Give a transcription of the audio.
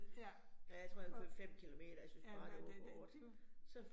Ja, og, ja, der der der